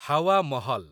ହାୱା ମହଲ୍